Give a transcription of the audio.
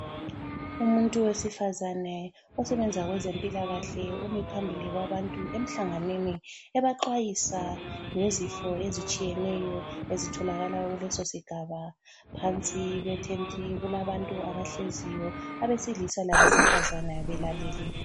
Umuntu wesifazane osebenza kwezempilakahle umi phambili kwabantu emhlanganweni ebaxwayisa ngezifo ezitshiyeneyo ezitholakala kulesosigaba. Phansi kwethenti kulabantu abahleziyo abesilisa labesifazana belalele.